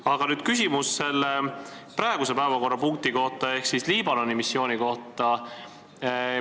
Aga nüüd küsimus praeguse päevakorrapunkti ehk siis Liibanoni missiooni kohta.